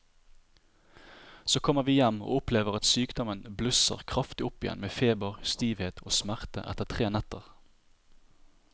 Så kommer vi hjem og opplever at sykdommen blusser kraftig opp igjen med feber, stivhet og smerter etter tre netter.